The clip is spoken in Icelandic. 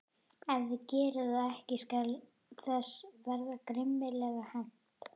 Ef þið gerið það ekki skal þess verða grimmilega hefnt.